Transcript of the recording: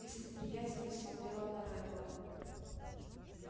и с неприязнью смотрела на реддла